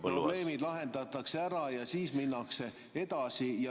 Probleemid lahendatakse ära, siis minnakse edasi.